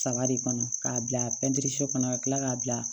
Saga de kɔnɔ k'a bila pɛntiri so kɔnɔ ka kila k'a bila